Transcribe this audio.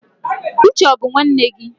Uche ó bu nwanne gi?